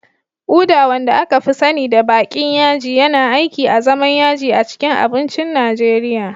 Uda, wanda aka fi sani da baƙin yaji, yana aiki azaman yaji a cikin abincin Najeriya